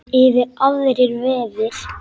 Yfir aðrir vefir.